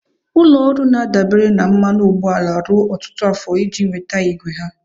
Ụlọ ọrụ na-adabere na mmanụ ụgbọala ruo ọtụtụ afọ iji nweta igwe ha.